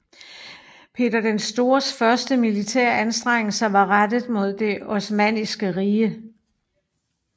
Peter den Stores første militære anstrengelser var rettet mod Det Osmanniske Rige